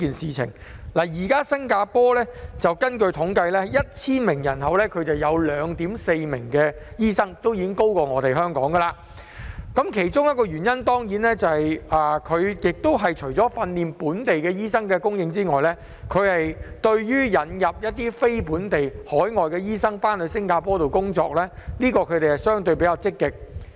根據統計，現時新加坡每 1,000 人口便有 2.4 名醫生，已經較香港為高，原因是當地除了訓練本地醫生外，對於引入非本地醫生到新加坡工作比較積極。